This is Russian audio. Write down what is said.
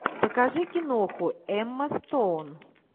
покажи киноху эмма стоун